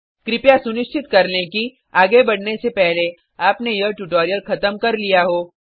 कृपया सुनिश्चित कर लें कि आगे बढ़ने से पहले आपने यह ट्यूटोरियल ख़त्म कर लिया हो